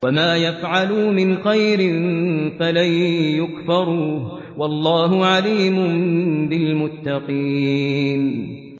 وَمَا يَفْعَلُوا مِنْ خَيْرٍ فَلَن يُكْفَرُوهُ ۗ وَاللَّهُ عَلِيمٌ بِالْمُتَّقِينَ